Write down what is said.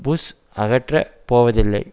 push அகற்றப் போவதில்லை